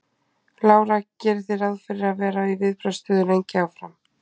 Lára: Gerið þið ráð fyrir að vera í viðbragðsstöðu lengi áfram?